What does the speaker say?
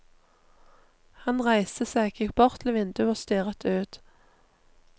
Han reiste seg, gikk bort til vinduet og stirret ut.